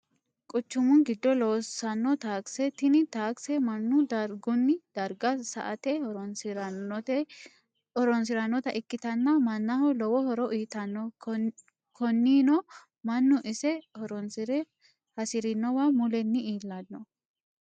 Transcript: Quchumu gido loosanno takise, tini taakise manu darigunni dariga sa'ate horonsiranotta ikkitanna manaho lowo horo uyitanno koninino manu ise horonsire hasirinowa mulenni iillanno